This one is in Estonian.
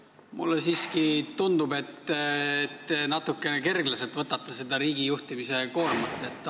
Mulle siiski tundub, et te võtate seda riigijuhtimise koormat natukene kerglaselt.